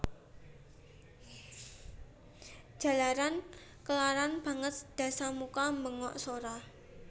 Jalaran kelaran banget Dasamuka mbengok sora